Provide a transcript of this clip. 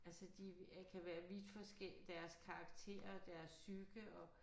Altså de er kan være vidt forskellige deres karakter og deres psyke og